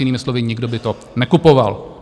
Jinými slovy, nikdo by to nekupoval.